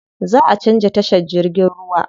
Zaʼa canza tashar jirgin ruwa.